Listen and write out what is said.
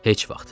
Heç vaxt.